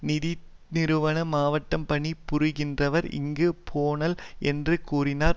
நிதிநிறுவன மாவட்டம் பணி புரிகின்றனர் இங்கு போனல் என்று கூறினால்